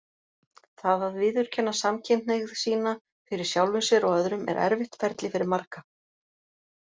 Það að viðurkenna samkynhneigð sína fyrir sjálfum sér og öðrum er erfitt ferli fyrir marga.